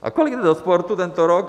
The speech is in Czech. A kolik jde do sportu tento rok?